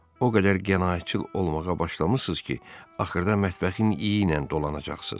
O qədər qənaətçil olmağa başlamısınız ki, axırda mətbəxin iylə dolanacaqsınız.